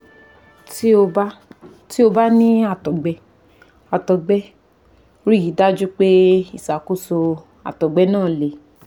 Tí ó bá Tí ó bá ní àtọ̀gbẹ àtọ̀gbẹ, rí i dájú pé ìṣàkóso àtọ̀gbẹ náà le